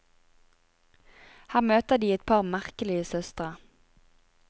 Her møter de et par merkelige søstre.